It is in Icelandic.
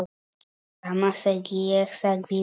Sama segi ég sagði Lúlli.